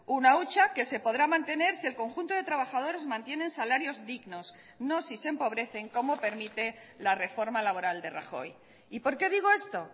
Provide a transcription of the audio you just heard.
una hucha que se podrá mantener si el conjunto de trabajadores mantienen salarios dignos no si se empobrecen como permite la reforma laboral de rajoy y por qué digo esto